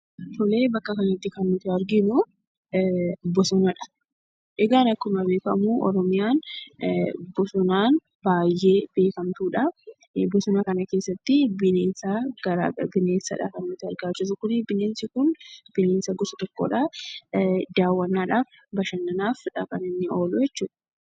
Tolee; bakka kanatti kan nuti arginuu, Boonaadha. Egaan akkuma beekamu Oromiyaan baay'ee beekamtudha. Boosoonaa kana keessatti kan nuti arga jiruu, Bineensaadha. Bineensa goosa tokkodha. Dawwanaaf, bashananaafiidha kan inni oluu jechuudha.